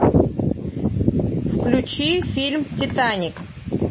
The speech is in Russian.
включи фильм титаник